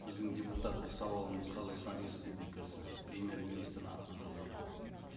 біздің депутаттық сауалымыз қазақстан республикасы премьер министрдің атына жолданады